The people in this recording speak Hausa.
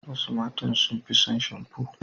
Wasu matan sun fi son shamfo.